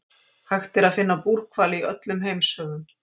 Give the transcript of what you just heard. hægt er að finna búrhvali í öllum heimshöfum